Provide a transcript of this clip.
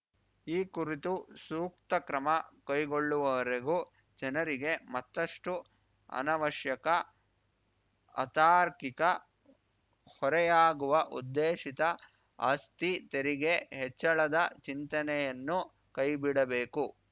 ಈ ಕುರಿತು ಸೂಕ್ತ ಕ್ರಮ ಕೈಗೊಳ್ಳುವವರೆಗೂ ಜನರಿಗೆ ಮತ್ತಷ್ಟುಅನವಶ್ಯಕ ಅತಾರ್ಕಿಕ ಹೊರೆಯಾಗುವ ಉದ್ದೇಶಿತ ಆಸ್ತಿ ತೆರಿಗೆ ಹೆಚ್ಚಳದ ಚಿಂತನೆಯನ್ನು ಕೈಬಿಡಬೇಕು